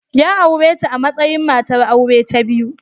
Ya aure ta a matsayin matar aure ta biyu.